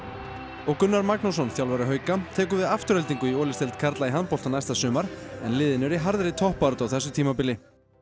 og Gunnar Magnússon þjálfari hauka tekur við Aftureldingu í karla í handbolta næsta sumar en liðin eru í harðri toppbaráttu á þessu tímabili